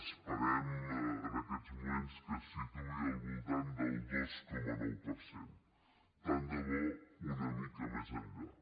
esperem en aquests moments que es situï al voltant del dos coma nou per cent tant de bo una mica més enllà